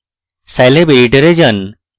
scilab editor যান